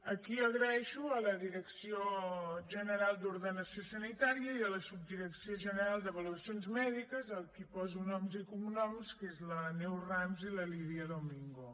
aquí dono les gràcies a la direcció general d’ordenació sanitària i a la subdirecció general d’avaluacions mèdiques a qui poso noms i cognoms que són la neus rams i la lídia domingo